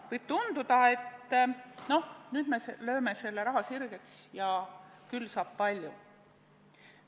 Võib tunduda, et no nüüd me lööme selle raha sirgeks ja küll saab palju tehtud.